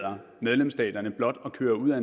mig